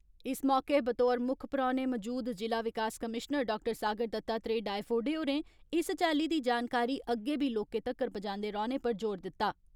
इस मौके बतौर मुक्ख परौहने मजूद जिला विकास कमीशनर डाक्टर सागर दतात्रेह डायफोडे होरें इस चाली दी जानकारी अग्गे बी लोकें तगर पुजांदे रौहने पर जोर दिता।